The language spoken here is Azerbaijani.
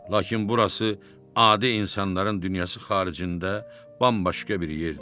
Lakin burası adi insanların dünyası xaricində bambaşqa bir yerdir.